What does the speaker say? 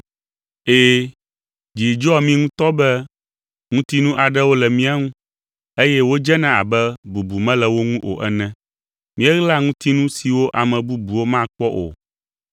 Ɛ̃, dzi dzɔa mí ŋutɔ be ŋutinu aɖewo le mía ŋu, eye wodzena abe bubu mele wo ŋu o ene. Míeɣlaa ŋutinu siwo ame bubuwo makpɔ o,